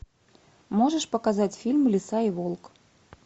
можешь показать фильм лиса и волк